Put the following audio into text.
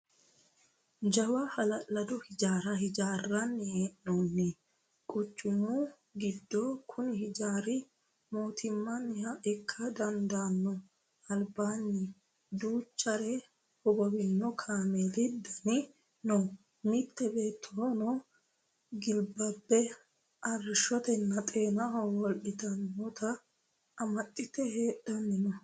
Jawa hala'lado hijaara hijaarsinanni hee'nonni quchumu giddo kuni hijaari mootimaniha ikka dandaano albaani duuchare hogowino kaameeli daani no mite beettono gilbabe arrishonna xeena holittanotta amaxite hadhani no.